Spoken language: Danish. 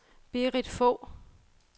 Berit Fogh